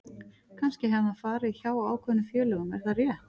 Kannski hefði hann farið hjá ákveðnum félögum en er það rétt?